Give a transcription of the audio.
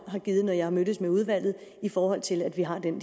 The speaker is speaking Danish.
givet når jeg har mødtes med udvalget i forhold til at vi har den